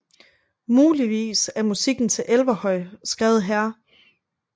Muligvis er musikken til Elverhøj skrevet her